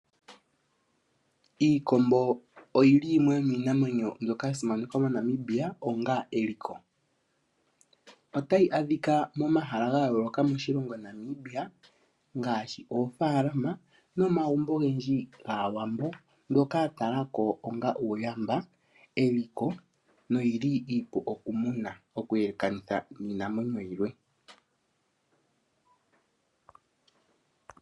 Iikombo oyili yimwe yomiinamwenyo mbyoka ya simanekwa moNamibia onga eliko otayi adhika momahala ga yooloka moshilongo Namibia ngaashi oofalama nomagumbo ogendji gAawambo ngoka ya tala ko onga uuyamba eliko noyili iipu okumuna okuyelekanitha niinamwenyo yilwe .